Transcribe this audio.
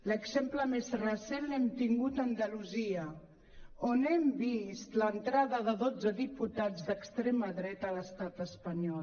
l’exemple més recent l’hem tingut a andalusia on hem vist l’entrada de dotze diputats d’extrema dreta a l’estat espanyol